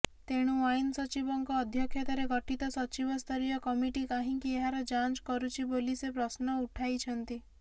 ତେଣୁ ଆଇନସଚିବଙ୍କ ଅଧ୍ୟକ୍ଷତାରେ ଗଠିତ ସଚିବସ୍ତରୀୟ କମିଟି କାହିଁକି ଏହାର ଯାଂଚ କରୁଛି ବୋଲି ସେ ପ୍ରଶ୍ନ ଉଠାଇଛନ୍ତି